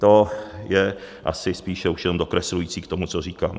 To je asi spíše už jenom dokreslující k tomu, co říkám.